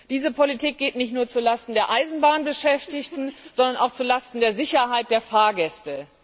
Diese Politik geht nicht nur zulasten der Eisenbahnbeschäftigten, sondern auch zulasten der Sicherheit der Fahrgäste.